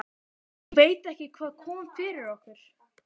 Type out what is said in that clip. Ég veit ekki hvað kom yfir okkur.